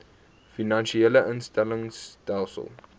finansiële instellings stel